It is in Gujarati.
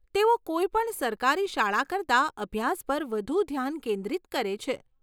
તેઓ કોઈપણ સરકારી શાળા કરતાં અભ્યાસ પર વધુ ધ્યાન કેન્દ્રિત કરે છે.